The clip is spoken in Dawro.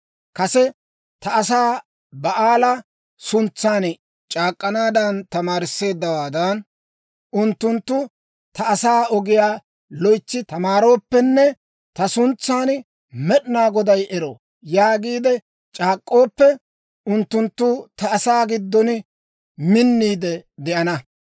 Kase ta asaa Ba'aala suntsan c'aak'k'anaadan tamaarisseeddawaadan, unttunttu ta asaa ogiyaa loytsi tamaarooppenne ta suntsan, ‹Med'inaa Goday ero!› yaagiide c'aak'k'ooppe, unttunttu ta asaa giddon minniide de'ana.